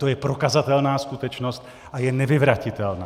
To je prokazatelná skutečnost a je nevyvratitelná.